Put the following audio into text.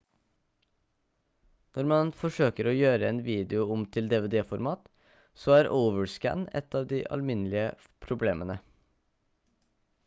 når man forsøker å gjøre en video om til dvd-format så er overscan et av de alminnelige problemene